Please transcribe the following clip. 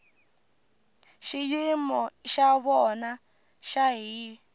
xiyimo xa vona xa hiv